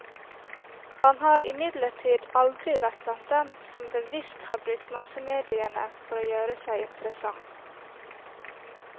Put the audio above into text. Han har imidlertid aldri vært blant dem som bevisst har brukt massemediene for å gjøre seg interessant.